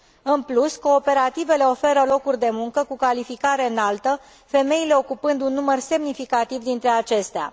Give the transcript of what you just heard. În plus, cooperativele oferă locuri de muncă cu calificare înaltă, femeile ocupând un număr semnificativ dintre acestea.